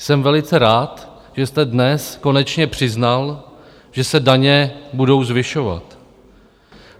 Jsem velice rád, že jste dnes konečně přiznal, že se daně budou zvyšovat.